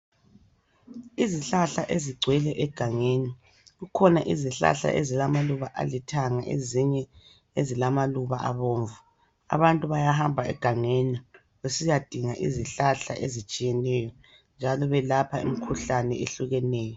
Izihlahla ezigcwele egangeni kukhona izihlahla ezilamaluba alithanga ezinye ezilamaluba abomvu abantu bayahamba egangeni besiyadinga izihlahla ezitshiyeneyo njalo belapha imikhuhlane ehlukeneyo